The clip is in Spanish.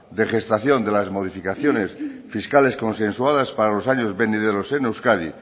de gestación de las modificaciones fiscales consensuadas para los años venideros en euskadi